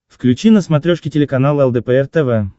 включи на смотрешке телеканал лдпр тв